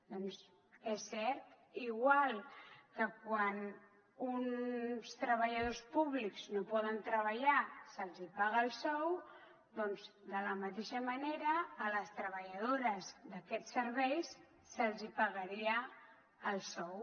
doncs és cert igual que quan uns treballadors públics no poden treballar se’ls paga el sou doncs de la mateixa manera a les treballadores d’aquests serveis se’ls pagaria el sou